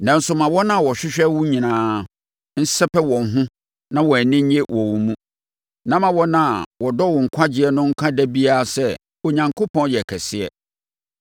Nanso ma wɔn a wɔhwehwɛ wo nyinaa nsɛpɛ wɔn ho na wɔn ani nnye wɔ wo mu; ma wɔn a wɔdɔ wo nkwagyeɛ no nka da biara sɛ, “Onyankopɔn yɛ kɛseɛ!”